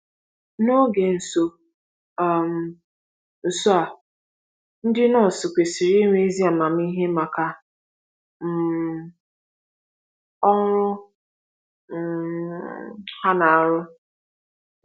N'oge nso um nso a, ndị nọọsụ kwesiri inwe ezi amamihe maka um ọrụ um ha na-arụ